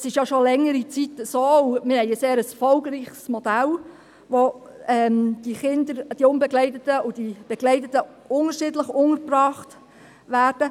Das ist ja schon längere Zeit der Fall, und wir haben ein sehr erfolgreiches Modell, in dem die begleiteten und die unbegleiteten Kinder unterschiedlich untergebracht werden.